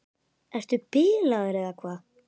Ertu bilaður eða hvað?